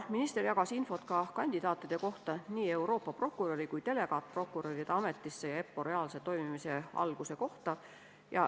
Minister jagas infot nii Euroopa prokuröri kui ka delegaatprokuröride ameti kandidaatide kohta ja EPPO reaalse toimimise alguse kohta.